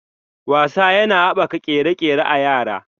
Wasa yana haɓaka ƙere-ƙere a yara.